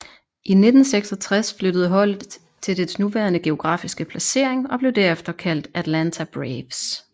I 1966 flyttede holdet til dets nuværende geografiske placering og blev derefter kaldt Atlanta Braves